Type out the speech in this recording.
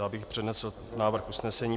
Já bych přednesl návrh usnesení.